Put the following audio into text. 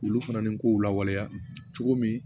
Olu fana ni kow lawaleya cogo min